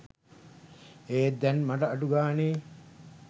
ඒත් දැන් මට අඩු ගානේ